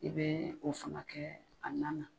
I be o fana kɛ a nan na.